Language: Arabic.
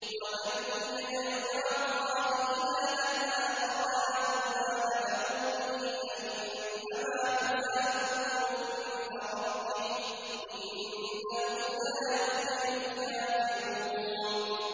وَمَن يَدْعُ مَعَ اللَّهِ إِلَٰهًا آخَرَ لَا بُرْهَانَ لَهُ بِهِ فَإِنَّمَا حِسَابُهُ عِندَ رَبِّهِ ۚ إِنَّهُ لَا يُفْلِحُ الْكَافِرُونَ